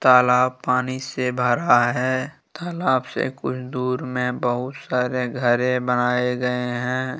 तालाब पानी से भरा है तालाब से कुछ दूर में बहुत सारे घरे बनाए गए हैं।